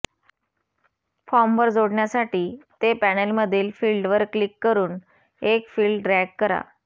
फॉर्मवर जोडण्यासाठी ते पॅनेलमधील फील्डवर क्लिक करून एक फील्ड ड्रॅग करा